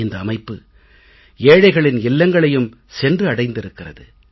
இந்த அமைப்பு ஏழைகளின் இல்லங்களையும் சென்று அடைந்திருக்கிறது